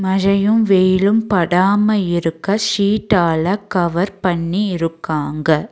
மழையும் வெயிலும் படாம இருக்க ஷிட்டால கவர் பண்ணி இருக்காங்க.